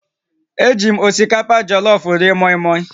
Eji m osikapa jọlọfụ rie mọịmọị